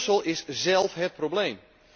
Brussel is zélf het probleem.